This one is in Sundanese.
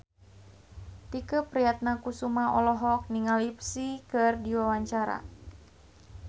Tike Priatnakusuma olohok ningali Psy keur diwawancara